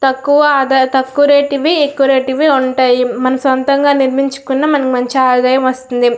తక్కువ ఆధార తక్కువ రేట్ వి ఎక్కువ రేటువి ఉంటాయి మనము సొంతంగా నిర్మించుకున్న మనకి మంచి ఆదాయం వస్తుంది--